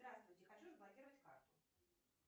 здравствуйте хочу заблокировать карту